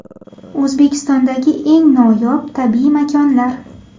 O‘zbekistondagi eng noyob tabiiy makonlar.